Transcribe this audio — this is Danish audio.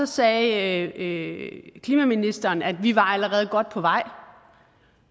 sagde klimaministeren at vi allerede var godt på vej